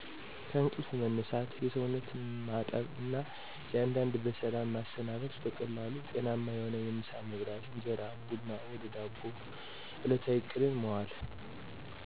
ከእንቅልፍ መነሳት፣ የሰውነት ማጠብ እና አንዳንድ በሰላም ማሰናበት። በቀላሉ ጤናማ የሆነ የምሳ መብላት (እንጀራ፣ ቡና ወፈ ዳቦ) እለታዊ እቅድን ማዋል